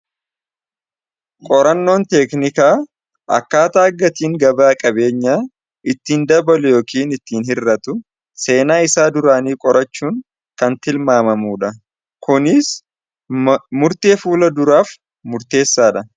Qorannoon teeknikaa akkaata akkatiin gabaa qabeenya ittiin dabalu yookiin ittiin hir'atu seenaa isaa duraanii qorachuun kan tilmaamamudha Kunis murtee fuula duraaf murteessaadha.